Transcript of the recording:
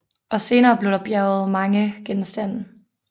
Også senere blev der bjerget mange genstande